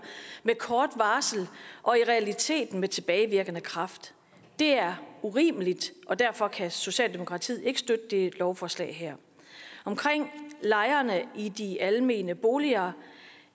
med kort varsel og i realiteten med tilbagevirkende kraft det er urimeligt og derfor kan socialdemokratiet ikke støtte det her lovforslag omkring lejerne i de almene boliger